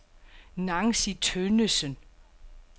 Nancy Tønnesen